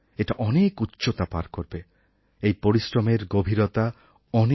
এটা অনেক উচ্চতা পার করবে এই পরিশ্রমের গভীরতা অনেক